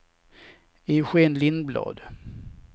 Eugén Lindblad